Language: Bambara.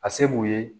A se b'u ye